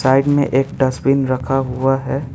Side में एक dustbin रखा हुआ है।